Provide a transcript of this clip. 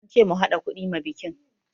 An ce mu haɗa kuɗi ma bikin